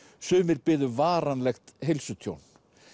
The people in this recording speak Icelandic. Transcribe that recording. sumir biðu varanlegt heilsutjón